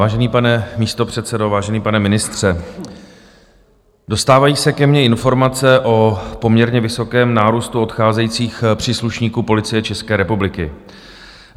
Vážený pane místopředsedo, vážený pane ministře, dostávají se ke mně informace o poměrně vysokém nárůstu odcházejících příslušníků Policie České republiky.